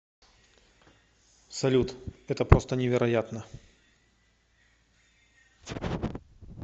салют это просто невероятно